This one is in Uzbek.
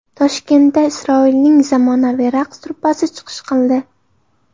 Toshkentda Isroilning zamonaviy raqs truppasi chiqish qildi.